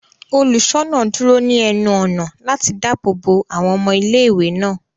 Oluṣọna duro ni ẹnu-ọna lati daabo bo awọn ọmọ ìlé-ìwé náà.